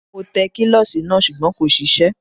Mo tẹ kílọ̀sì náà sùgbọ́n kò ṣiṣẹ́